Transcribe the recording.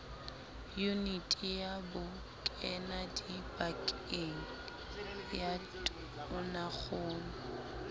yuniti ya bokenadipakeng ya tonakgolo